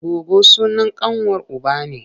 Goggo sunan ƙanwar uba ne.